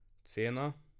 Cena?